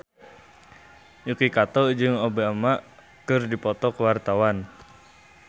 Yuki Kato jeung Obama keur dipoto ku wartawan